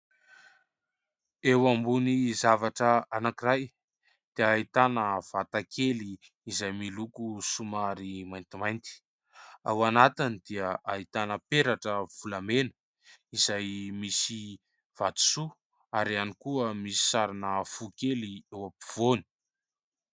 Eo ambony zavatra anankiray dia ahitana vata kely izay miloko somary maintimainty. Ao anatiny dia ahitana peratra volamena, izay misy vatosoa ary ihany koa misy sarina fo kely eo ampovoany.